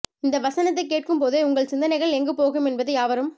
இந்த வசனத்தை கேட்கும் போதே உங்கள் சிந்தனைகள் எங்கு போகும் என்பது யாவரும்